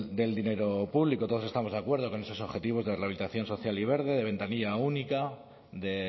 del dinero público todos estamos de acuerdo con esos objetivos de rehabilitación social y verde de ventanilla única de